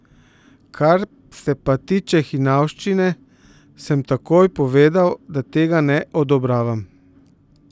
Kar se pa tiče hinavščine, sem takoj povedal, da tega ne odobravam.